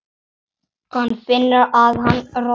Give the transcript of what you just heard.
Hann finnur að hann roðnar.